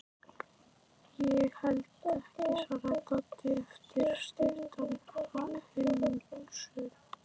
Ég held ekki, svarar Doddi eftir stutta umhugsun.